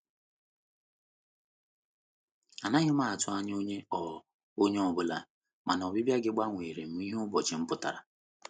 Anaghị m atụ anya onye ọ anya onye ọ bụla, mana ọbịbịa gị gbanwerem ihe ụbọchị m pụtara.